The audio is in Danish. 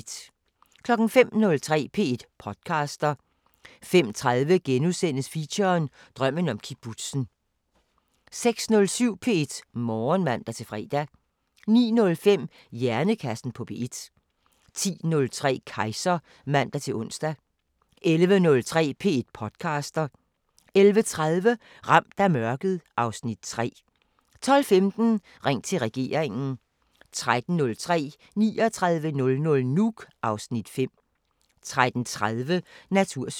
05:03: P1 podcaster 05:30: Feature: Drømmen om kibbutzen * 06:07: P1 Morgen (man-fre) 09:05: Hjernekassen på P1 10:03: Kejser (man-ons) 11:03: P1 podcaster 11:30: Ramt af mørket (Afs. 3) 12:15: Ring til regeringen 13:03: 3900 Nuuk (Afs. 5) 13:30: Natursyn